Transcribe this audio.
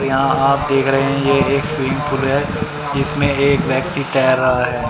यहां आप देख रहे हैं ये एक स्विमिंग पूल है जिसमें एक व्यक्ति तैर रहा है।